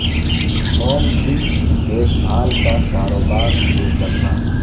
home دن کی دیکھ بھال کا کاروبار شروع کرنا